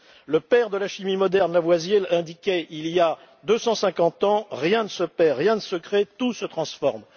Le père de la chimie moderne, Lavoisier, l'indiquait il y a 250 ans Rien ne se perd, rien ne se crée, tout se transforme.